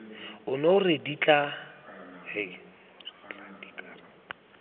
ono re tla dika re